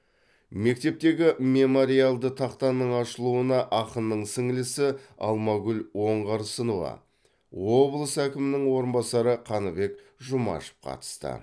мектептегі мемориалды тақтаның ашылуына ақынның сіңлісі алмагүл оңарсынова облыс әкімінің орынбасары қаныбек жұмашев қатысты